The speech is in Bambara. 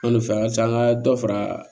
An bɛ fɛ a ka se an ka dɔ fara